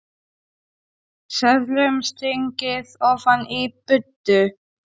Seðlum stungið ofan í buddu.